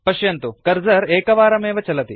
पश्यन्तु कर्सर एकवारमेव चलति